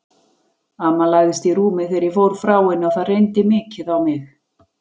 Amma lagðist í rúmið þegar ég fór frá henni og það reyndi mikið á mig.